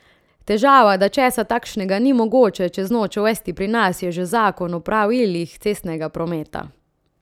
Težava, da česa takšnega ni mogoče čez noč uvesti pri nas, je že Zakon o pravilih cestnega prometa.